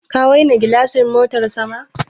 Ka waina gilashin motan sama.